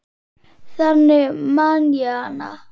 Þannig man ég hana.